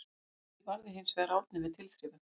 Vítið varði hinsvegar Árni með tilþrifum.